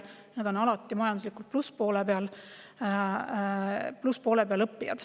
Need õppijad on alati majanduslikult plusspoole peal.